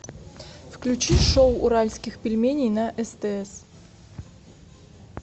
включи шоу уральских пельменей на стс